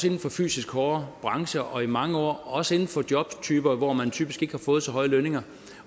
inden for fysisk hårde brancher og i mange år også inden for jobtyper hvor man typisk har fået så høje lønninger